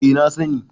eh na sani